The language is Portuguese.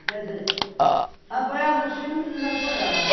Quer dizer, apoiava os filhos e me desapoiava.